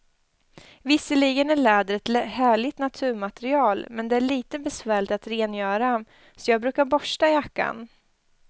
Visserligen är läder ett härligt naturmaterial, men det är lite besvärligt att rengöra, så jag brukar borsta jackan.